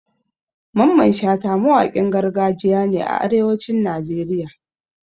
Mamman Shata mawakin gargajiya ne a arewacin Najeriya